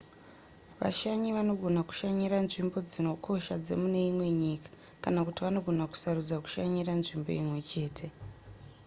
vashanyi vanogona kushanyira nzvimbo dzinokosha dzemune imwe nyika kana kuti vanogona kusarudza kushanyira nzvimbo imwe chete